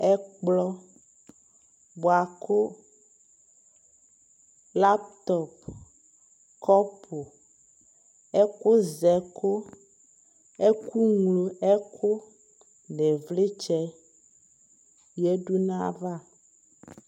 ɛkplɔ bʋakʋ laptop, kɔpʋ, ɛkʋzɛkʋ, ɛkʋmlɔ ɛkʋ, nʋ ivlitsɛ yadʋ nʋ aɣa